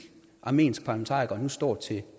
armensk parlamentariker nu står til